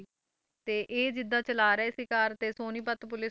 ਤੇ ਇਹ ਜਿੱਦਾਂ ਚਲਾ ਰਹੇ ਸੀ ਕਾਰ ਤੇ ਸੋਨੀਪਤ ਪੁਲਿਸ,